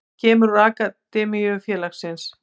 Hann kemur úr akademíu félagsins.